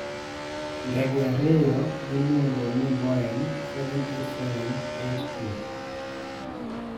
Ndege ariyo miluongo ni Boeing 787-8 2.